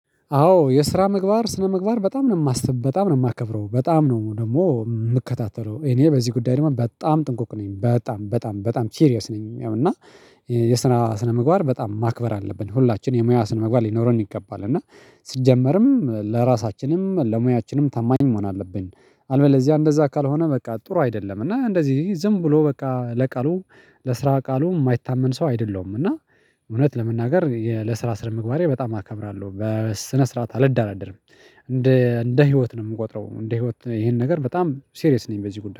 አወ የስራ ምግባር ስነ ምግባር በጣም ነው የማሰብ በጣም ነው የማከበረው በጣም ነው ደግሞ የምከታተለው እኔ በዚህ ጉዳይ ደግሞ በጣም ጥንቁቅ ነኝ በጣም በጣም በጣም ሲሪያስ ነኝ። ያው እና የየስራ ስነ ምግባር በጣም ማክበር አለብን ሁላችን የሙያ ስነምግባር ሊኖረን ይገባል እና ሲጀመርም ለራሳችንም ለሙያችንም ታማኝ መሆን አለብን። አለበለዚያ እንደዛ ካልሆነ በቃ ጥሩ አይደለም እና እንደዚህ ዝም ብሎ በቃ ለቃሉ ለስራ ቃሉ የማይታመን ሰው አይደለሁ። እና እውነት ለመናገር የለ ስራ ስነ ምግባሬ በጣም አከብራለሁ በስነ ስርዓት አልደራደርም። እንደ ህይወት ነው የምቆጥረው እንደ ህይወት ይኸን ነገር በጣም ሲሬስ ነኝ። በዚህ ጉዳይ